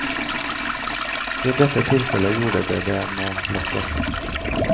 I dette tilfellet gjorde de det med lett hjerte.